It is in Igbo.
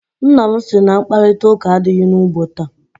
Nna m sị na mkparịtaụka adịghị n'ugbo taa.